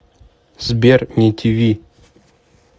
сбер не ти ви